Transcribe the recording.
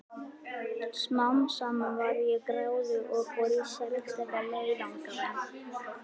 Smám saman varð ég gráðug og fór í sérstaka leiðangra.